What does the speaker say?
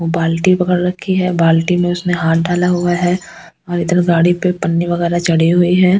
बाल्टी पकड़ रखी है बाल्टी में उसने हाथ डाला हुआ है और इधर गाड़ी पे पन्नी वगैरह चढ़ी हुई है।